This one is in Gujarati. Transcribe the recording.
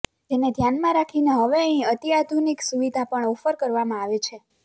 જેને ધ્યાનમાં રાખીને હવે અહીં અત્યાધુનિક સુવિધા પણ ઑફર કરવામાં આવે છે